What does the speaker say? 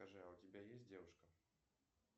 скажи а у тебя есть девушка